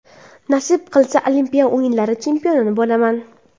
Nasib qilsa Olimpiya o‘yinlari chempioni bo‘laman.